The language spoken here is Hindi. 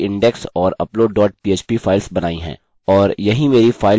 और यहीं मेरी फाइल्स संचित हो रही हैं जब वे एक बार अपलोड हो जाती हैं